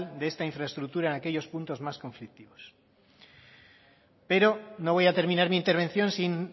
de esta infraestructura en aquellos puntos más conflictivos pero no voy a terminar mi intervención sin